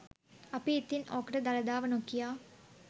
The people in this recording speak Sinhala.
අපි ඉතින් ඕකට දළදාව නොකියා